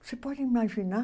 Você pode imaginar?